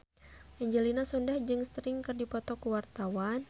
Angelina Sondakh jeung Sting keur dipoto ku wartawan